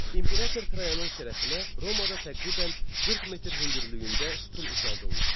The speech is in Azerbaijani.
İmperator Trayanın şərəfinə Romada təqribən 40 metr hündürlüyündə sütun ucaldılmışdı.